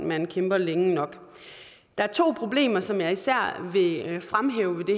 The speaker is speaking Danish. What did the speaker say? man kæmper længe nok der er to problemer som jeg især vil fremhæve